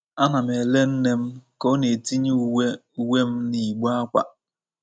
Ana m ele nne m ka ọ na-etinye uwe uwe m n’igbe ákwà.